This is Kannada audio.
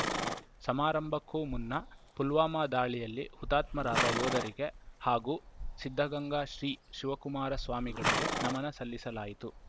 ಸಮಾರಂಭಕ್ಕೂ ಮುನ್ನ ಪುಲ್ವಾಮಾ ದಾಳಿಯಲ್ಲಿ ಹುತ್ಮಾತ್ಮರಾದ ಯೋಧರಿಗೆ ಹಾಗೂ ಸಿದ್ಧಗಂಗಾ ಶ್ರೀ ಶಿವಕುಮಾರ ಸ್ವಾಮಿಗಳಿಗೆ ನಮನ ಸಲ್ಲಿಸಲಾಯಿತು